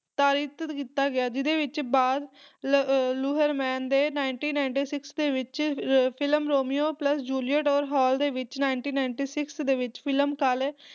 ਰੂਪਾਂਤਰਿਤ ਕੀਤਾ ਗਿਆ ਜਿਹਦੇ ਵਿੱਚ ਬਾਜ਼ ਲ ਅਹ ਲੁਹਰਮਨ ਦੇ nineteen ninety-six ਦੇ ਵਿੱਚ ਫਿਲਮ ਰੋਮੀਓ ਪਲੱਸ ਜੂਲੀਅਟ ਔਰ ਹਾਲ ਦੇ ਵਿੱਚ nineteen ninety-six ਦੇ ਵਿੱਚ ਫਿਲਮ ਕਾਰਲੇ